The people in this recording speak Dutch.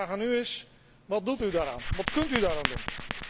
Mijn vraag aan u is wat doet daaraan, wat kunt u daaraan doen?